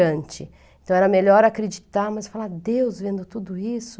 Então era melhor acreditar, mas falar, Deus vendo tudo isso,